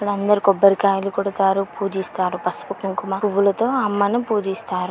ఇక్కడందరు కొబ్బరికాయల్ కొడుతారు పూజిస్తారు. పసుపు కుంకుమ పువ్వులతో అమ్మను పూజిస్తారు.